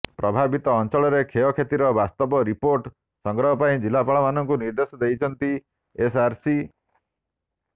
ପ୍ରଭାବିତ ଅଞ୍ଚଳରେ କ୍ଷୟକ୍ଷତିର ବାସ୍ତବ ରିପୋର୍ଟ ସଂଗ୍ରହ ପାଇଁ ଜିଲ୍ଲାପାଳମାନଙ୍କୁ ନିର୍ଦେଶ ଦେଇଛନ୍ତି ଏସ୍ଆର୍ସି